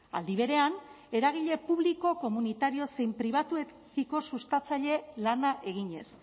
aldi berean eragile publiko komunitario zein pribatuekiko sustatzaile lana eginez